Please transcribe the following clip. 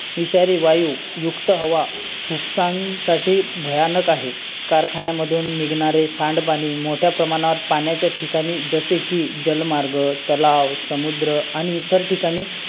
तुमच ते आठवण आठवावा लागेल .